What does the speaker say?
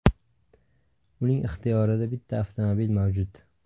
Uning ixtiyorida bitta avtomobil mavjud.